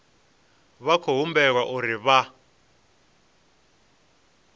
vha khou humbelwa uri vha